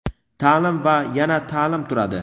ta’lim va yana ta’lim turadi.